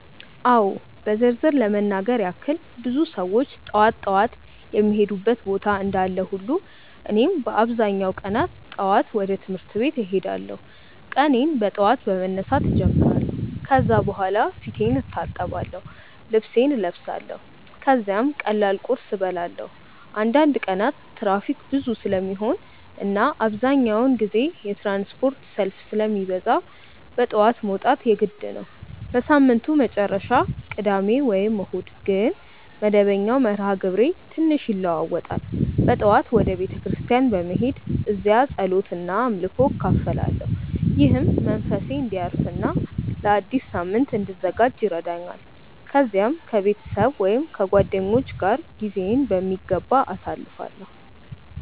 አዎ በዝርዝር ለመናገር ያክል ብዙ ሰዎች ጠዋት ጠዋት የሚሄዱበት ቦታ እንዳለ ሁሉ እኔም በአብዛኛው ቀናት ጠዋት ወደ ትምህርት ቤት እሄዳለሁ። ቀኔን በጠዋት በመነሳት እጀምራለሁ ከዚያ በኋላ ፊቴን እታጠብአለሁ፣ ልብሴን እለብሳለሁ ከዚያም ቀላል ቁርስ እበላለሁ። አንዳንድ ቀናት ትራፊክ ብዙ ስለሚሆን እና አብዛኛውን ጊዜ የትራንስፖርት ሰልፍ ስለሚበዛ በጠዋት መውጣት የግድ ነው። በሳምንቱ መጨረሻ (ቅዳሜ ወይም እሁድ) ግን መደበኛው መርሃ ግብሬ ትንሽ ይለዋዋጣል። በጠዋት ወደ ቤተ ክርስቲያን በመሄድ እዚያ ጸሎት እና አምልኮ እካፈላለሁ፣ ይህም መንፈሴን እንዲያርፍ እና ለአዲስ ሳምንት እንድዘጋጅ ይረዳኛል። ከዚያም ከቤተሰብ ወይም ከጓደኞች ጋር ጊዜዬን በሚገባ አሳልፋለሁ።